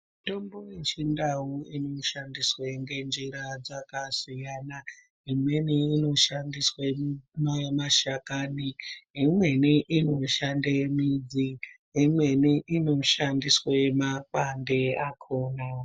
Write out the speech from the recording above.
Mitombo yechindau inoshandiswe ngenjira dzakasiyana imweni inoshandiswe mashakani imweni inoshande midzi imweni inoshandiswe mapande akona .